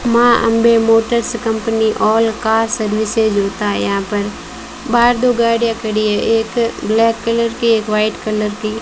मां Ambe motors company all car services होता है यहां पर बाहर दो गाड़ियां खड़ी है एक ब्लैक कलर की एक व्हाइट कलर की।